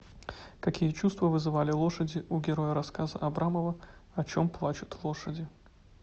какие чувства вызывали лошади у героя рассказа абрамова о чем плачут лошади